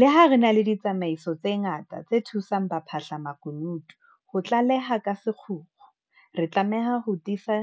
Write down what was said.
Leha re na le ditsamaiso tse ngata tse thusang ba phahlamakunutu ho tlaleha ka sekgukgu, re tlameha ho tiisa